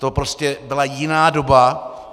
To prostě byla jiná doba.